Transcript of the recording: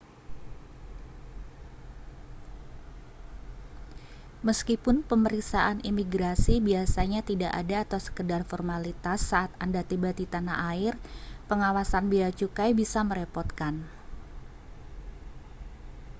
meskipun pemeriksaan imigrasi biasanya tidak ada atau sekadar formalitas saat anda tiba di tanah air pengawasan bea cukai bisa merepotkan